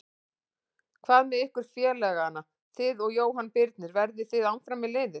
Hvað með ykkur félagana þig og Jóhann Birnir, verðið þið áfram með liðið?